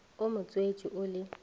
o mo tswetše o le